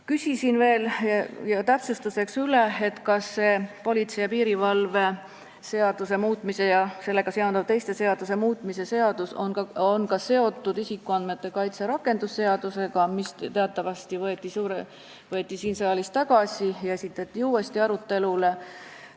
Küsisin täpsustuseks üle, kas politsei ja piirivalve seaduse muutmise ja sellega seonduvalt teiste seaduste muutmise seadus on seotud isikuandmete kaitse seaduse rakendamise seadusega, mis teatavasti võeti siin saalis tagasi ja esitati uuesti menetlusse.